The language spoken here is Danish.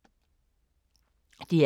DR K